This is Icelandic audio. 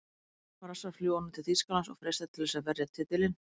Brassar fljúga nú til Þýskalands og freistast til þess að verja titilinn.